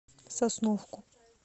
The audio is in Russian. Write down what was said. сосновку